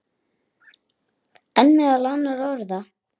En meðal annarra orða.